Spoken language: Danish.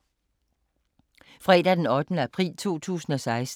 Fredag d. 8. april 2016